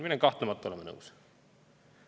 Sellega ma olen kahtlemata nõus.